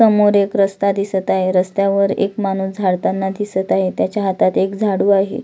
समोर एक रस्ता दिसत आहे रस्त्या वर एक माणुस झाडताना दिसत आहे त्याच्या हातात एक झाडु आहे.